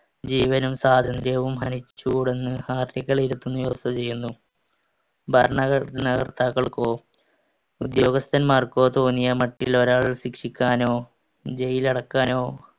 ജീവനും സ്വാതന്ത്ര്യവും ഹനിചൂടെന്ന് article ഇരുപത്തൊന്ന് ഉറപ്പുചെയ്യുന്നു. ഭരണഘടനകർത്താക്കൾക്കോ ഉദ്യോഗസ്ഥൻമാർക്കോ തോന്നിയ മറ്റുള്ളൊരാളെ ശിക്ഷിക്കാനോ jail ൽ അടക്കാനോ